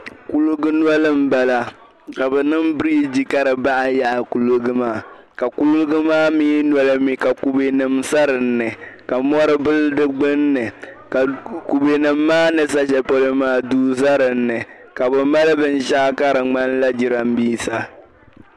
Kuliga noli m-bala ka bɛ niŋ biriji ka di baai yaɣi kuliga maa ka kuliga mi noli mi ka kubenima sa din ni ka mɔri bili di gbunni ka kubenima maa ni za shɛli polo maa duu za din ni ka bɛ maali binshɛɣu ka di ŋmanila jirambiisa